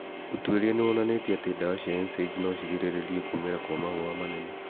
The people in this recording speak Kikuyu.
ũtuĩria nĩwonanĩtie atĩ ndawa cia NSAIDs nocirigĩrĩrie kũmĩra gwa mahũha manene